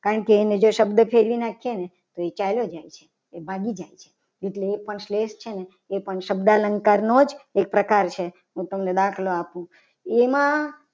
કારણ કે એને જો શબ્દ ફેરવી નાખી એને તો એ ચાલી જાય છે. એ ભાગી જાય છે. એટલે એ પણ સ્લેશ છે. ને શબ્દ અલંકાર નો જ એક પ્રકાર છે હું તમને દાખલો આપું એમાં